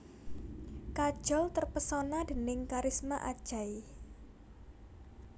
Kajol terpesona déning kharisma Ajay